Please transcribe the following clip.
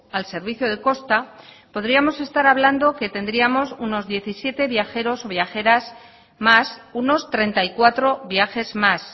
al servicio de costa podríamos estar hablando que tendríamos unos diecisiete viajeros o viajeras más unos treinta y cuatro viajes más